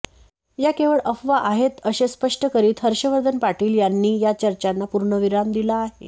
या केवळ अफवा आहेत असे स्पष्ट करीत हर्षवर्धन पाटील यांनी या चर्चांना पूर्णविराम दिला आहे